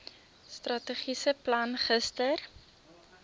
strategiese plan gister